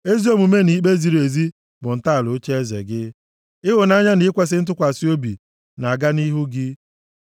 Ezi omume na ikpe ziri ezi, bụ ntọala ocheeze gị; ịhụnanya na ikwesi ntụkwasị obi, na-aga nʼihu gị.